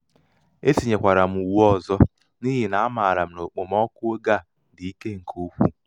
e tinyekwara m uwe ọzọ n'ihi na amaara m na okpomọkụ oge a dị ike nke ukwuu.